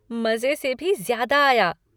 मज़े से भी ज़्यादा आया।